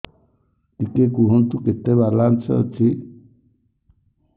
ଟିକେ କୁହନ୍ତୁ କେତେ ବାଲାନ୍ସ ଅଛି